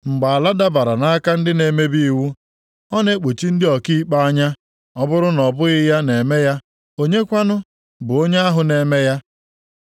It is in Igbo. Mgbe ala dabara nʼaka ndị na-emebi iwu, ọ na-ekpuchi ndị ọkaikpe anya. Ọ bụrụ na ọ bụghị ya na-eme ya, onye kwanụ bụ onye ahụ na-eme ya?